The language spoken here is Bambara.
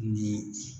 Ni